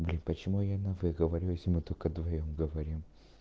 блядь почему я на вы говорю если мы только вдвоём говорим